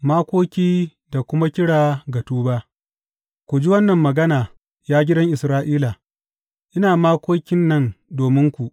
Makoki da kuma kira ga tuba Ku ji wannan magana, ya gidan Isra’ila, ina makokin nan dominku.